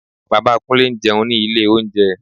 Bàbá Kúnlé ń jẹun ní ilé oúnjẹ